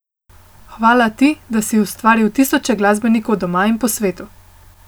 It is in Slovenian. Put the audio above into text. Hvala ti, da si ustvaril tisoče glasbenikov doma in po svetu.